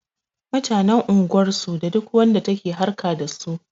Mutanen unguwar su da duk wanda take harƙa dasu